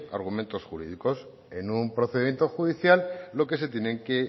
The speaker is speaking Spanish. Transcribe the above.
argumentos jurídicos en un procedimiento judicial lo que se tienen que